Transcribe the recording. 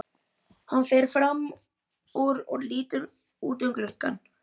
Hann fer fram úr og lítur út um gluggann.